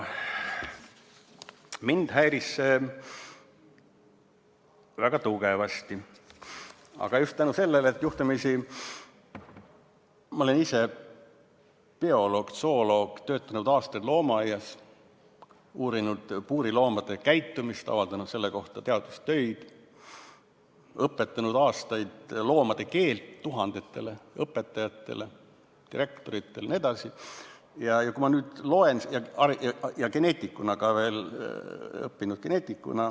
" Mind häiris see väga tugevasti, aga just seetõttu, et juhtumisi ma olen ise bioloog, zooloog, töötanud aastaid loomaaias, uurinud puuriloomade käitumist, avaldanud selle kohta teadustöid, õpetanud aastaid loomade keelt tuhandetele õpetajatele, direktoritele jne ja olen ka veel õppinud geneetik.